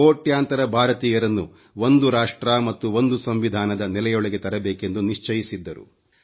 ಕೋಟ್ಯಾಂತರ ಭಾರತೀಯರನ್ನು ಒಂದು ರಾಷ್ಟ್ರ ಮತ್ತು ಒಂದು ಸಂವಿಧಾನದ ನೆಲೆಯೊಳಗೆ ತರಬೇಕೆಂದು ನಿಶ್ಚಯಿಸಿದ್ದರು